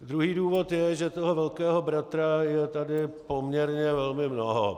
Druhý důvod je, že toho velkého bratra je tady poměrně velmi mnoho.